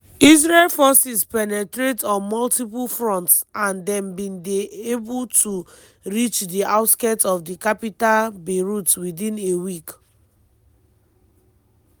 israel forces penetrate on multiple fronts and dem bin dey able to reach di outskirts of di capital beirut within a week.